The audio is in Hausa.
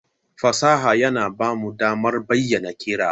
Fasaha yana ba mu damar bayyana kerawa.